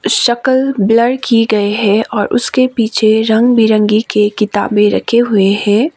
शकल ब्लर की गई है और उसके पीछे रंग बिरंगी के किताबे रखे हुए है।